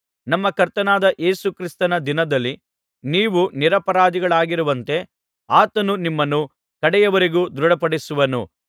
ನಮ್ಮ ಕರ್ತನಾದ ಯೇಸು ಕ್ರಿಸ್ತನ ದಿನದಲ್ಲಿ ನೀವು ನಿರಪರಾಧಿಗಳಾಗಿರುವಂತೆ ಆತನು ನಿಮ್ಮನ್ನು ಕಡೆಯವರೆಗೂ ದೃಢಪಡಿಸುವನು